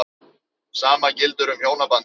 Sama gildir um hjónabandið.